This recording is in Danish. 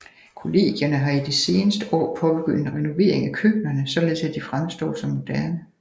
Kollegierne har i de seneste år påbegyndt en renovering af køkkenerne således at de fremstår som moderne